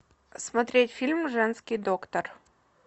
смотреть фильм женский доктор